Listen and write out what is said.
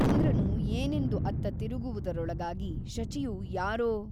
ಇಂದ್ರನು ಏನೆಂದು ಅತ್ತ ತಿರುಗುವುದರೊಳಗಾಗಿ ಶಚಿಯು ಯಾರೋ.